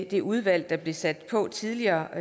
det udvalg der blev sat på tidligere